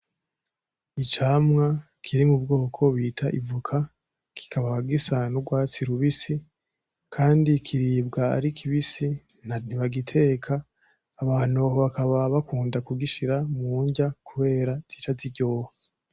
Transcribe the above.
Icamwa kiri m'ubwoko bita ivoka kikaba gisa n'urwatsi rubisi, kandi kiribwa ari kibisi, ntibagiteka, abantu bakaba bakunda kugishira mu nrya kubera zica ziryoha.